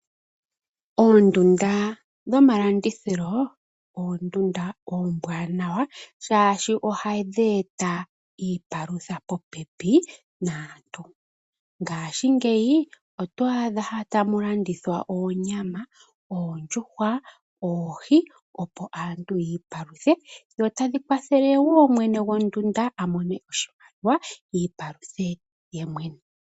Oondunda dhomalandithilo, oondunda oombwanawa shaashi ohadhi eta iipalutha popepi naantu. Ngaashingeyi oto adha tamu landithwa oonyama, oondjuhwa, oohi opo aantu yi i paluthe dho tadhi kwathele woo mwene gondunda a mone oshimaliwa iipaluthe ye mwene.